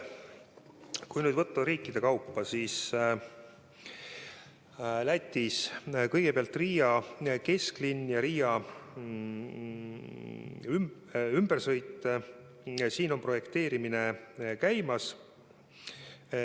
Kui vaadata riikide kaupa, siis Lätis on käimas Riia kesklinna ja Riia ümbersõidu projekteerimine.